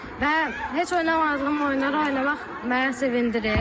Və heç oynamadığım oyunları oynamaq məni sevindirir.